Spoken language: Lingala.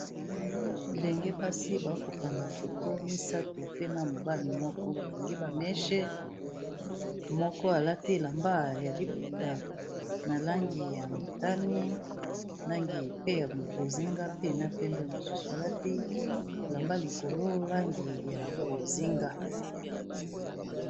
Bilenge basi ba ko kanga photo misatu pe na mobali moko . Ba kangi ba mèches, moko a lati elamba ya liputa na langi ya motane, langi pe ya bozinga, pe na pembe, mosusu a lati elamba likolo langi ya bozinga .